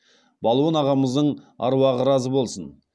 балуан ағамыздың аруағы разы болсын